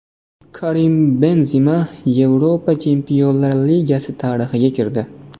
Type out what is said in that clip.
Karim Benzema Yevropa Chempionlar Ligasi tarixiga kirdi.